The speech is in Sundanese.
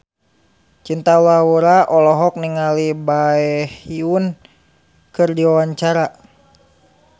Cinta Laura olohok ningali Baekhyun keur diwawancara